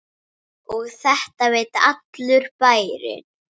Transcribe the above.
Og þetta veit allur bærinn?